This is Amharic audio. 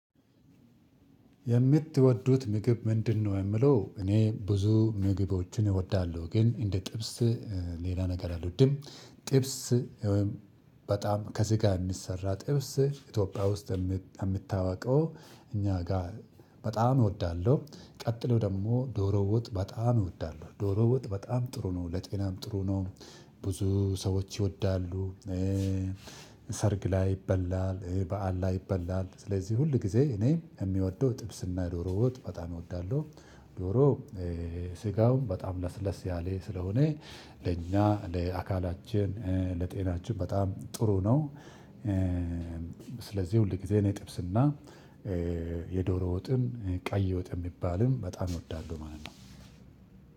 የምትወዱት ምግብ ምንድነው? የሚለው እኔ ብዙ ምግቦችን እወዳለሁ። ግን እንደ ጥብስ፣ ሌላ ነገር አልወድም። ጥብስ ወይም በጣም ከስጋ የሚሰራ ጥብስ ኢትዮጵያ ውስጥ ከምታውቀው እኛ ጋር በጣም እወዳለሁ። ቀጥሎ ደግሞ ዶሮ ወጥ በጣም እወዳለሁ ዶሮ ወጥ በጣም ጥሩ ነው። ለጤናም ጥሩ ነው። ብዙ ሰዎች ይወዳሉ። ሰርግ ላይ ይበላል፣ በዓል ላይ ይበላል። ስለዚህ ሁልጊዜ እኔ የምወደው ጥብስና ዶሮ ወጥ በጣም እወዳለሁ። ዶሮ ስጋው በጣም ለስለስ ያለ ስለሆነ ለእኛ ለአካላችን፣ ለጤናችን በጣም ጥሩ ነው። ስለዚህ ሁልጊዜ እኔ ጥብስና የዶሮ ወጥን ቀይ ወጥ የሚባልም በጣም እወዳለሁ ማለት ነው።